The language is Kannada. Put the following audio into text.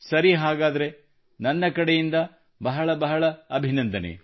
ಸರಿ ಹಾಗಾದರೆ ನನ್ನ ಕಡೆಯಿಂದ ಬಹಳ ಬಹಳ ಅಭಿನಂದನೆ